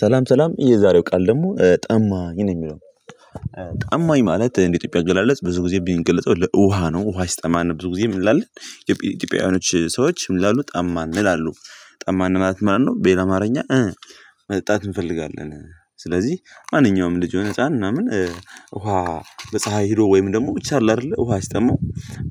ሰላም ሰላም የዛሬው ቃል ደግሞ ጠማኝ ነው ሚለው። ጠማኝ ማለት እንደ ኢትዮጵያ አገላለጽ ብዙ ጊዜ ቢንገልጸው ለውሃ ነው ውሃ ሲጠማን ብዙ ጊዜ ምን እንላለን? ኢትዮጵያውያኖች ሰዎች ምን ይምላሉ ጠማን ይላሉ። ጠማን ማለት ማነው? በሌላ አማርኛ። መጠጣት እንፈልጋለን ስለዚህ ማንኛውም ልጅ የሆነ ህፃን ምናምን። ውሃ በፀሀይ ሄዶ ወይም ደግሞ ብቻ አለ አደለ ውሃ ሲጠማው